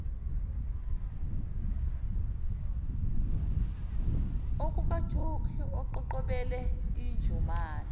okukajokhi eqhoqhobele injomane